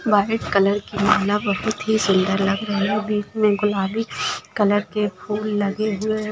वॉलीट colour के माल बोहत ही सुंदर लग रहे है बेंच मे गुलाबी कलर के फूल लगे हुए--